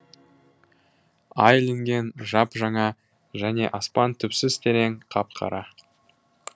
ай ілінген жап жаңа және аспан түпсіз терең қап қара